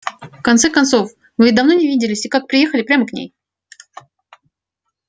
в конце концов мы ведь давно не виделись и как приехали прямо к ней